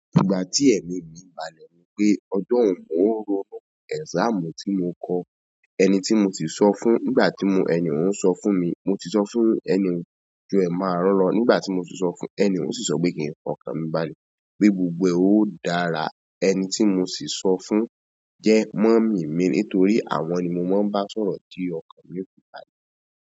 Nígbà tí ẹ̀mi mi balẹ̀ nípé ọjọ́ ọ̀ún rọ̀nu, exam tí mò kọ, ẹni tí mò ti sọ fún nígbà tí ẹni òún ń sọ fún mi, mò ti sọ fún ẹni òún "ju ẹ máarun lọ nígbà tí mò ti sọ fún ẹ" eni oun si so pe kin fi okan mi balẹ̀ pe gbogbo e o dára. Ẹni tí mò sì sọ fún jẹ́ mummy mi nítorí àwọn ni mò ń bá sọ̀rọ̀ tí ọkàn mi ò fi balẹ̀.